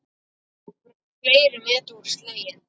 Fleiri met voru slegin.